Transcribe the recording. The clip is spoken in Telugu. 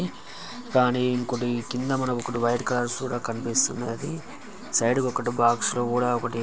కానీ ఇంకోటి కింద మనకు ఒకటి వైట్ కలర్ చూడ కనిపిస్తుంది. సైడ్ కి ఒకటి బాక్స్ లో కూడా ఒకటి--